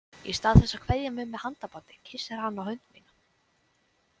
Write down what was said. Í stað þess að kveðja mig með handabandi kyssir hann á hönd mína.